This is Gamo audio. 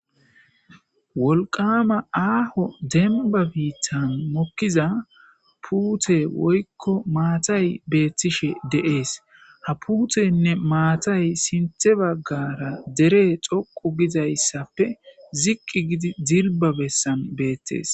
Wolqama aaho demba biittan mokkiza puute woykko maatay beettishe deees hapuutenne maatay sinthe baggara dere xoqu gizayssappe ziqqi gidi dilba bessan beettees.